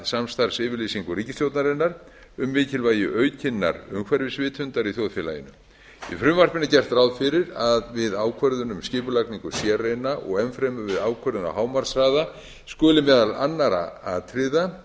samstarfsyfirlýsingu ríkisstjórnarinnar um mikilvægi aukinnar umhverfisvitundar í þjóðfélaginu í frumvarpinu er gert ráð fyrir að við ákvörðun um skipulagningu sérreina og enn fremur við ákvörðun á hámarkshraða skuli meðal annarra atriða